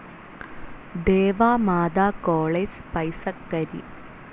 Deva Matha college, Paisakkari